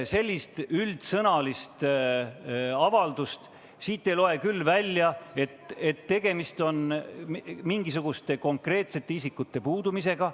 " Sellisest üldsõnalisest avaldusest ei loe küll välja, et tegemist on mingisuguste konkreetsete isikute puudumisega.